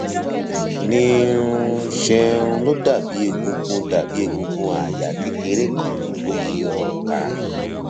ní um ṣe um ló dàbí egungun dàbí egungun àyà kékeré kan tó yí ọrùn ká